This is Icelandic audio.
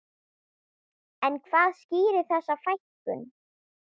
En hvað skýrir þessa fækkun?